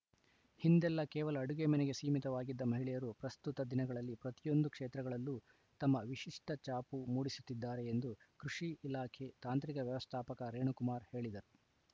ಹಿಂದೆಲ್ಲ ಕೇವಲ ಅಡುಗೆ ಮನೆಗೆ ಸೀಮಿತವಾಗಿದ್ದ ಮಹಿಳೆಯರು ಪ್ರಸ್ತುತ ದಿನಗಳಲ್ಲಿ ಪ್ರತಿಯೊಂದು ಕ್ಷೇತ್ರಗಳಲ್ಲೂ ತಮ್ಮ ವಿಶಿಷ್ಟಛಾಪು ಮೂಡಿಸುತ್ತಿದ್ದಾರೆ ಎಂದು ಕೃಷಿ ಇಲಾಖೆ ತಾಂತ್ರಿಕ ವ್ಯವಸ್ಥಾಪಕ ರೇಣುಕುಮಾರ್‌ ಹೇಳಿದರು